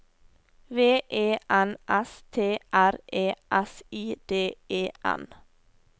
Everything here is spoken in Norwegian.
V E N S T R E S I D E N